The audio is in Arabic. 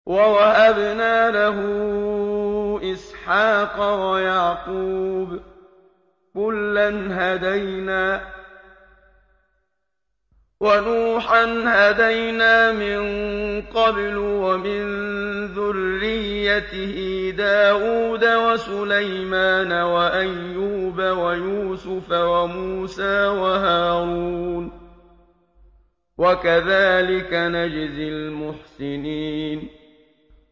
وَوَهَبْنَا لَهُ إِسْحَاقَ وَيَعْقُوبَ ۚ كُلًّا هَدَيْنَا ۚ وَنُوحًا هَدَيْنَا مِن قَبْلُ ۖ وَمِن ذُرِّيَّتِهِ دَاوُودَ وَسُلَيْمَانَ وَأَيُّوبَ وَيُوسُفَ وَمُوسَىٰ وَهَارُونَ ۚ وَكَذَٰلِكَ نَجْزِي الْمُحْسِنِينَ